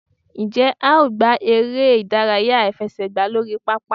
njẹ a o gbá eré idàráyá afẹsẹgba lorí pápá?